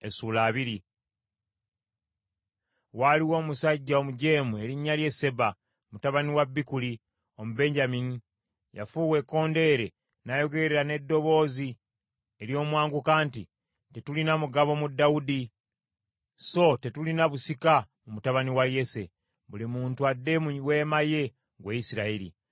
Waaliwo omusajja omujeemu erinnya lye Seba, mutabani wa Bikuli, Omubenyamini. Yafuuwa ekkondeere n’ayogerera n’eddoboozi ery’omwanguka nti, “Tetulina mugabo mu Dawudi, so tetulina busika mu mutabani wa Yese! Buli muntu adde mu weema ye, ggwe Isirayiri!”